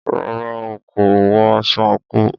Rárá,a kò wọ aṣọ àńkò.